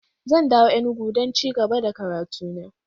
Zan dawo Enugu don ci gaba da karatu na.